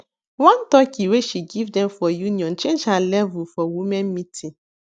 one turkey wey she give dem for union change her level for women meeting